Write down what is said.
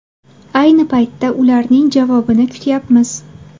Ayni paytda ularning javobini kutyapmiz.